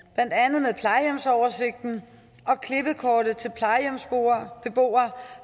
blandt andet med plejehjemsoversigten og klippekortet til plejehjemsbeboere